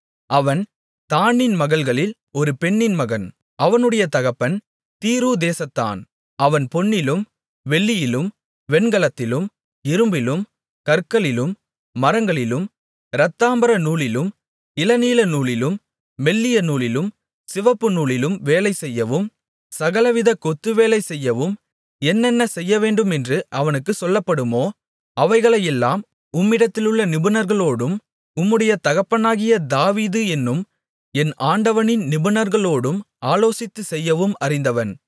அவன் தாணின் மகள்களில் ஒரு பெண்ணின் மகன் அவனுடைய தகப்பன் தீரு தேசத்தான் அவன் பொன்னிலும் வெள்ளியிலும் வெண்கலத்திலும் இரும்பிலும் கற்களிலும் மரங்களிலும் இரத்தாம்பர நூலிலும் இளநீல நூலிலும் மெல்லிய நூலிலும் சிவப்பு நூலிலும் வேலை செய்யவும் சகலவிதக் கொத்துவேலை செய்யவும் என்னென்ன செய்யவேண்டுமென்று அவனுக்குச் சொல்லப்படுமோ அவைகளையெல்லாம் உம்மிடத்திலுள்ள நிபுணர்களோடும் உம்முடைய தகப்பனாகிய தாவீது என்னும் என் ஆண்டவனின் நிபுணர்களோடும் ஆலோசித்துச் செய்யவும் அறிந்தவன்